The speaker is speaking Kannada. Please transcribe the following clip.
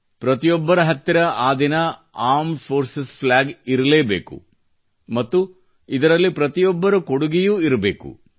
ಪ್ರತಿಯೊಬ್ಬರ ಹತ್ತಿರ ಆ ದಿನ ಂಡಿmeಜ ಈoಡಿಛಿes ನ ಫ್ಲ್ಯಾಗ ಇರಲೇ ಬೇಕು ಮತ್ತು ಇದರಲ್ಲಿ ಪ್ರತಿಯೊಬ್ಬರ ಕೊಡುಗೆಯೂ ಇರಬೇಕು